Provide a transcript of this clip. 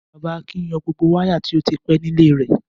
Bàbá Akin yọ gbogbo wáyà tó ti pẹ́ nílé rẹ̀.